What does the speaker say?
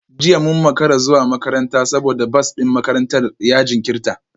Jiya mun makara zuwa makaranta saboda bas din makarantar ya jinkirta